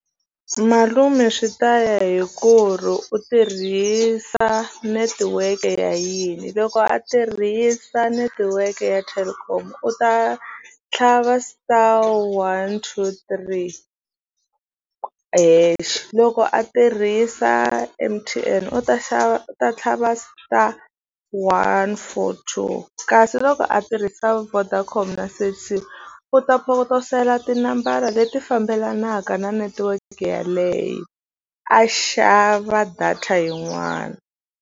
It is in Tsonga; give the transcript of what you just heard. Malume swi ta ya hi ku ri u tirhisa netiweke ya yini loko a tirhisa netiweke ya Telkom u ta tlhava star one two three hexe loko a tirhisa M_T_N u ta xava u ta tlhava star one four two kasi loko a tirhisa Vodacom na Cell C u ta potosela tinambara leti fambelanaka na netiweke yeleyo a xava data yin'wana.